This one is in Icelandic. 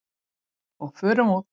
Og förum úr.